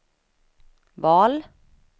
val